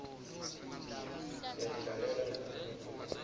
siyatilalela naletinye tingoma